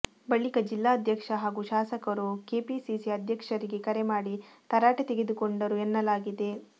ಬಳಿಕ ಜಿಲ್ಲಾಧ್ಯಕ್ಷ ಹಾಗೂ ಶಾಸಕರು ಕೆಪಿಸಿಸಿ ಅಧ್ಯಕ್ಷರಿಗೆ ಕರೆ ಮಾಡಿ ತರಾಟೆ ತೆಗೆದುಕೊಂಡರು ಎನ್ನಲಾಗಿದೆ